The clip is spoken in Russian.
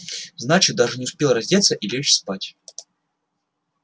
значит даже не успел раздеться и лечь спать